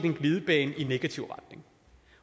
en glidebane i negativ retning